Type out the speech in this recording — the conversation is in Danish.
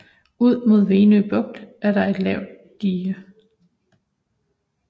Ud mod Venø Bugt er der et lavt dige